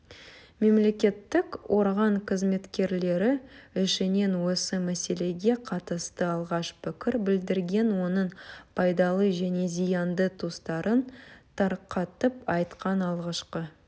мемлекеттік орган қызметкерлері ішінен осы мәселеге қатысты алғаш пікір білдірген оның пайдалы және зиянды тұстарын тарқатып айтқан алғашқы